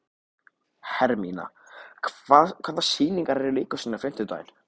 Hermína, hvaða sýningar eru í leikhúsinu á fimmtudaginn?